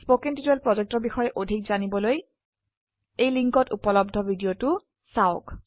spoken tutorial projectৰ বিষয়ে অধিক জানিবলৈ এই লিঙ্কত উপলব্ধ ভিডিওটো চাওক